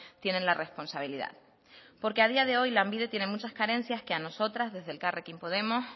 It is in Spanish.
tienen la responsabilidad porque a día de hoy lanbide tiene muchas carencias que a nosotras desde elkarrekin podemos